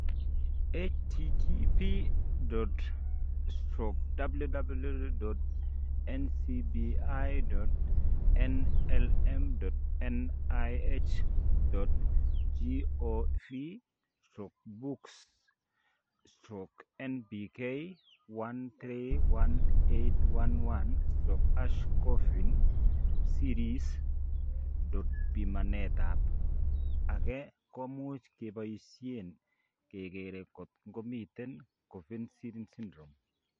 http://www.ncbi.nlm.nih.gov/books/NBK131811/#coffin siris. Pimanet ab ge komuch keboisien kekeger kot ko miten Coffin Siris Syndrome